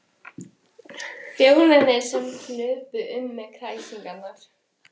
Þjónarnir sem hlupu um með kræsingarnar.